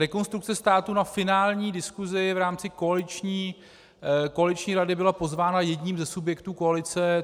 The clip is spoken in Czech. Rekonstrukce státu na finální diskusi v rámci koaliční rady byla pozvána jedním ze subjektů koalice.